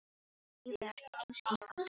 Lífið er ekki eins einfalt og þú heldur.